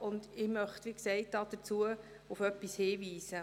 Ich möchte deshalb auf etwas hinweisen.